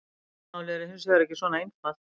Málið er hins vegar ekki svona einfalt.